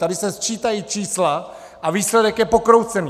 Tady se sčítají čísla a výsledek je pokroucený!